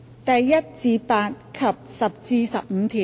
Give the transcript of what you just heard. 第1至8及10至15條。